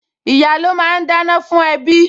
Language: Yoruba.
Ìyá́ ló máa ń dáná fún ẹbí